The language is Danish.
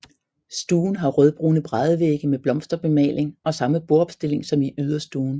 Stuen har rødbrune bræddevægge med blomsterbemaling og samme bordopstilling som i yderstuen